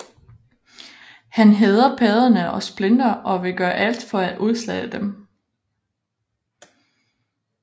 Han hader padderne og Splinter og vil gøre alt for at udslette dem